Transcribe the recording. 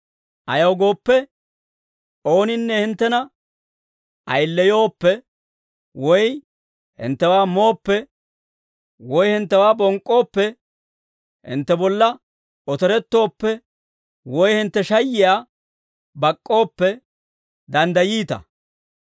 Ayaw gooppe, ooninne hinttena ayileyooppe, woy hinttewaa mooppe, woy hinttewaa bonk'k'ooppe, hintte bolla otorettooppe, woy hintte shayiyaa bak'k'ooppe, danddayiita.